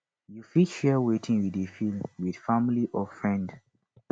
you fit share wetin you dey feel with family or friend